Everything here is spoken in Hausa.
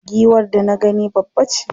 Giwar da na gani babbace.